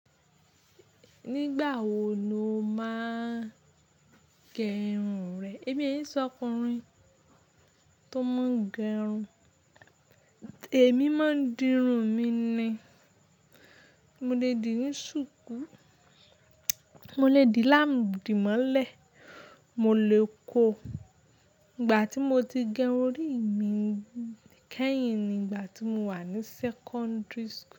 Nígbà wo lo máa ń gẹrun rẹ? Èmi yín ṣọkùnrin tó máa ń gẹrun. Ẹ̀mí máa ń dirun mi ni. Mo lè dì ní ṣùkú, mo lè dì adímọ́lẹ̀, mo lè kó. Ìgbà tí mo ti gẹrun rí, èmi kẹ́yìn ni ìgbà tí mo wà ní sẹ́kọ́ńdìrì.